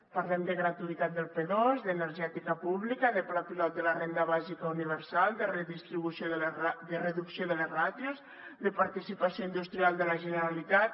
parlem de gratuïtat del p2 d’energètica pública de pla pilot de la renda bàsica universal de reducció de les ràtios de participació industrial de la generalitat